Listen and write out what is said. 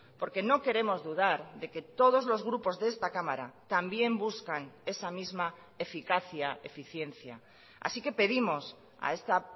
porque no queremos dudar de que todos los grupos de esta cámara también buscan esa misma eficacia eficiencia así que pedimos a esta